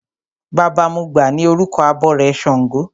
Baba mọgbà ni orúkọ abọrẹ̀ ṣàngó.